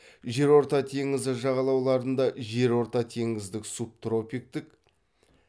жерорта теңізі жағалауларында жерортатеңіздік субтропиктік